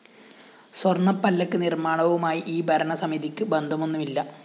സ്വര്‍ണ്ണപ്പല്ലക്ക് നിര്‍മ്മാണവുമായി ഈ ഭരണ സമിതിക്ക് ബന്ധമൊന്നുമില്ല